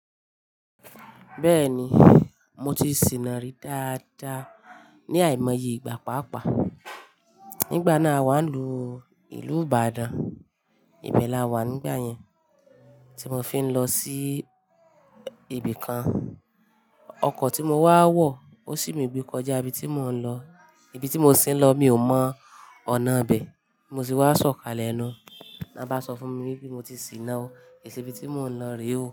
Bẹ́ẹ̀ni, mo ti sìnà rí dáadáa ní àìmọye ìgbà pápàá. Nígbà náà awa lú ìlú Ìbàdàn. Ibẹ̀ la wà nígbà yẹn, tí mo fi ń lọ sí ibì kan. Ọkọ̀ tí mo wá wọ̀, ó sì mi gbé kọjá ibi tí mò ń lọ. Ibi tí mo sì ń lọ, mi ò mọ ọ̀nà bẹ̀. Mo sì wá sọ̀kalẹ̀ ẹnu. La bá sọ fún mi pé mo ti sìnà ó, èsì ibi tí mò ń lọ rí ò.